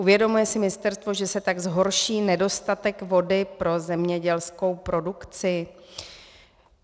Uvědomuje si ministerstvo, že se tak zhorší nedostatek vody pro zemědělskou produkci?